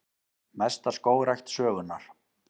Mesta skógrækt sögunnar